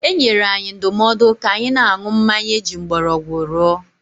E nyere anyị ndụmọdụ ka anyị na-aṅụ mmanya eji mgbọrọgwụ rụọ.